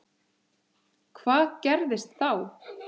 Hvað gerðist þá?